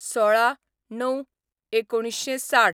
१६/०९/१९६०